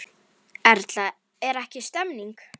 Erla, er ekki stemning?